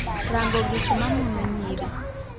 rango gikma mono nyiri